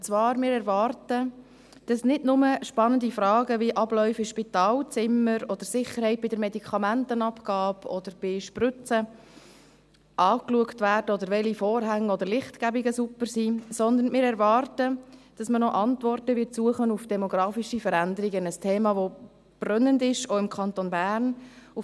Und zwar erwarten wir, dass nicht nur spannende Fragen wie Abläufe in Spitalzimmern oder Sicherheit bei der Medikamentenabgabe oder bei Spritzen angeschaut werden, oder welche Vorhänge oder Lichtgebungen super sind, sondern wir erwarten, dass auch Antworten auf demografische Veränderungen gesucht werden, ein Thema, welches auch im Kanton Bern brennend ist;